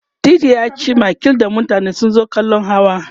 titi yaci makil da mutane sun zo kallan hawa